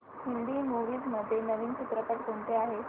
Hindi movies मध्ये नवीन चित्रपट कोणते आहेत